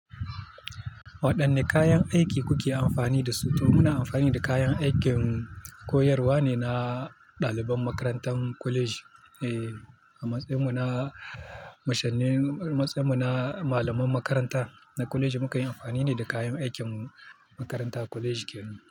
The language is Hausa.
Waɗanne kayan aiki kuke amfani da su? To muna amfani da kayan aikin koyarwa ne na ɗaliban makarantar kwaleji. Eh, a matsayin mu na mashani, a matsayin mu na malaman makaranta na kwaleji, muka yi amfani ne da kayan aikin mu makaranta kwaleji kenan.